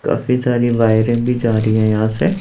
काफी सारी वायरे भी जा रही हैं यहां से।